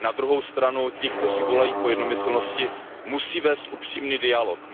Na druhou stranu ti, kteří volají po jednomyslnosti, musí vést upřímný dialog.